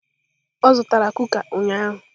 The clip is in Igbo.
O zutara kuká ụnyaahụ?